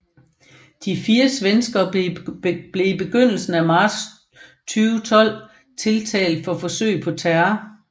De fire svenskere blev i begyndelsen af marts 2012 tiltalt for forsøg på terror